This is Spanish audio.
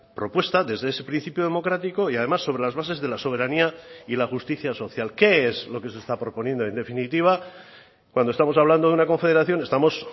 propuesta desde ese principio democrático y además sobre las bases de la soberanía y la justicia social qué es lo que se está proponiendo en definitiva cuando estamos hablando de una confederación estamos